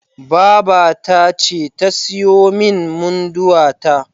Babata ce ta siyo min Munduwa ta.